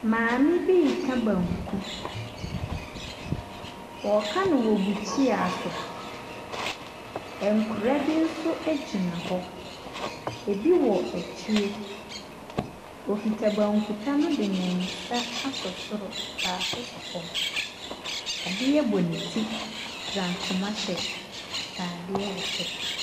Maame bi reka banku. Ɔreka no wɔ bukyia so. Nkwadaa bi nso gyina hɔ. Ebi wɔ akyire. Ɔkuta bankuta no de ne nsa asɔ soro, baako sɔ fam. Adeɛ bɔ ne ti, fura ntoma hyɛ atadeɛ wɔ soro.